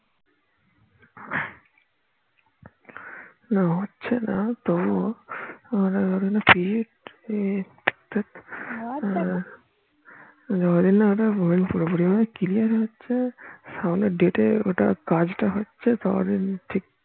না হচ্ছে না তো না পুরোপুরি ভাবে clear হচ্ছে সামনে date ওটা কাজ টা হচ্ছে তত দিন ঠিক